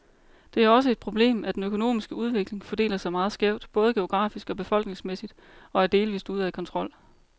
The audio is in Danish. Det er også et problemet, at den økonomiske udvikling fordeler sig meget skævt, både geografisk og befolkningsmæssigt, og er delvist ude af kontrol.